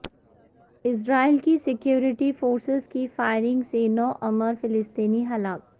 اسرائیل کی security forces کی فائرنگ سے نو عمر فلسطینی ہلاک